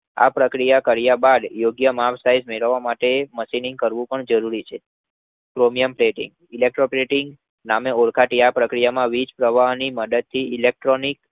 આ પ્રક્રિયા કર્યા બાદ યોગ્ય માપ- size મેળવવા માટે મશીનિંગ કરવું જરૂરી છે. Chromium plating Electroplating Electro deposition ના નામે ઓળખાતી આ પ્રક્રિયામાં વીજપ્રવાહની મદદથી Electrolytic